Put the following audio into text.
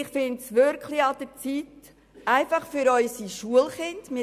Ich finde, es ist wirklich an der Zeit, etwas für unsere Schulkinder zu tun.